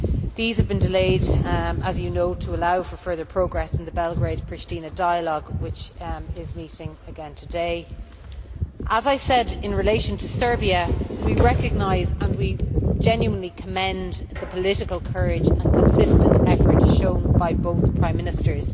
These have been delayed, as you know, to allow for further progress in the Belgrade Pristina dialogue, which is meeting again today. As I said in relation to Serbia, we recognise and genuinely commend the political courage and consistent efforts shown by both Prime Ministers.